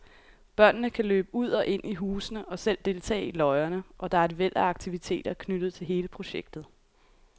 Børnene kan løbe ud og ind i husene og selv deltage i løjerne, og der er et væld af aktiviteter knyttet til hele projektet.